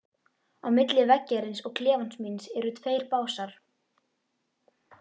Á milli veggjarins og klefans míns eru tveir básar.